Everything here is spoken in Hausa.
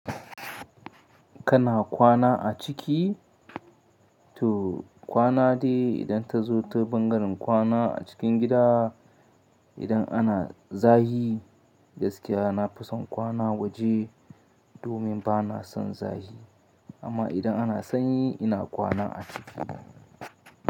Kana kwana a ciki? To kwana dai idan ta zo ta bangaren kwana a cikin gida. Idan ana zahi gaskiya na fi son kwana waje domin ba na son zahi amma idan ana sanyi ina kwana a ciki.